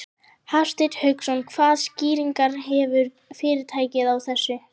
Hafsteinn Hauksson: Hvaða skýringar gefur fyrirtækið á þessu?